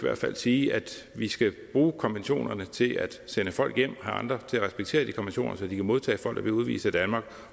sige at vi skal bruge konventionerne til at sende folk hjem og andre til at respektere de konventioner så de kan modtage folk der bliver udvist af danmark